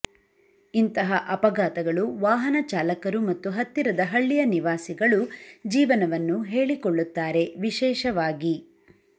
ಇಂತಹ ಅಪಘಾತಗಳು ವಾಹನ ಚಾಲಕರು ಮತ್ತು ಹತ್ತಿರದ ಹಳ್ಳಿಯ ನಿವಾಸಿಗಳು ಜೀವನವನ್ನು ಹೇಳಿಕೊಳ್ಳುತ್ತಾರೆ ವಿಶೇಷವಾಗಿ